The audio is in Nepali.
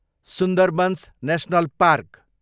Sundarbans national park